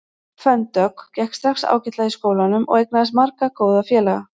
Fönn Dögg gekk strax ágætlega í skólanum og eignaðist marga góða félaga.